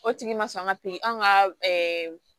O tigi ma sɔn ka piri an ka